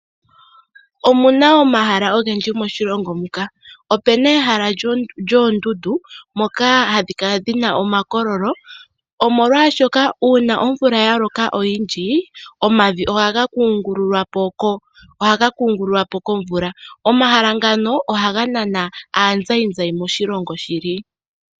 Omu na omahala ogendji moshilongo muka. Opu na ehala lyoondundu ndhoka hadhi kala dhi na omakololo, molwashoka uuna omvula ya loka oyindji omavi ohaga kungululwa po komvula. Omahala ngano ohaga nana aazayizayi moshilongo shili.